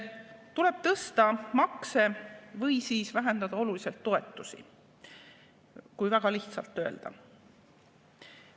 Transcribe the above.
Tuleb tõsta makse või vähendada oluliselt toetusi, kui väga lihtsalt öelda.